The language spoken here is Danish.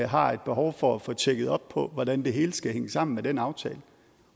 har et behov for at få tjekket op på hvordan det hele skal hænge sammen med den aftale